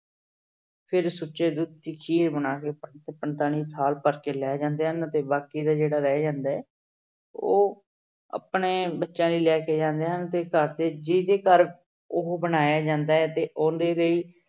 ਫਿਰ ਸੁੱਚੇ ਦੁੱਧ ਦੀ ਖੀਰ ਬਣਾ ਕੇ ਪੰਡਤ ਸਾਧ ਭਰ ਕੇ ਲੈ ਜਾਂਦੇ ਹਨ ਤੇ ਬਾਕੀ ਦਾ ਜਿਹੜਾ ਰਹਿ ਜਾਂਦਾ ਹੈ ਉਹ ਆਪਣੇ ਬੱਚਿਆਂ ਲਈ ਲੈ ਕੇ ਜਾਂਦੇ ਹਨ ਤੇ ਘਰ ਦੇ ਜਿਹਦੇ ਘਰ ਉਹ ਬਣਾਇਆ ਜਾਂਦਾ ਹੈ ਤੇ ਉਹਦੇ ਲਈ